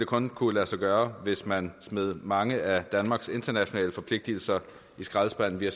kun kunne lade sig gøre hvis man smed mange af danmarks internationale forpligtelser i skraldespanden vi har